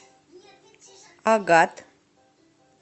агат